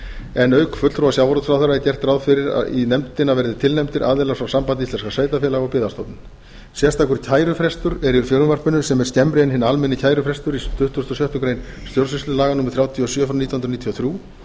en auk fulltrúa sjávarútvegsráðherra er gert ráð fyrir að í nefndina verði tilnefndir aðilar frá sambandi íslenskra sveitarfélaga og byggðastofnun sérstakur kærufrestur er í frumvarpinu sem er skemmri en hinn almenni kærufrestur í tuttugasta og sjöttu grein stjórnsýslulaga númer þrjátíu og sjö nítján hundruð níutíu og þrjú